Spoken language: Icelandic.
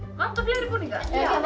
vantar fleiri búninga